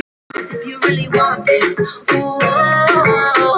Fisk, giskaði ég.